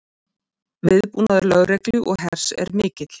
Viðbúnaður lögreglu og hers er mikill